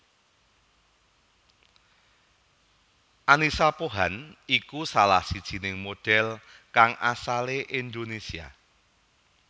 Annisa Pohan iku salah sijiné modhél kang asalé Indonésia